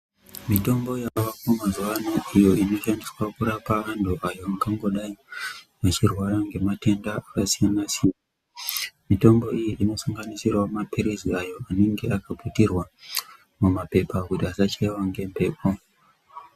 Mitombo yavako mazuwano iyo inoshandiswa kurapa antu ayo angangidai achirwara ngematenda aka siyan siyana mitombo iyi inosanganisirawo mapirizi ayo anenge akaputirwa mumapepa kuti asachaiwe ngemhepo.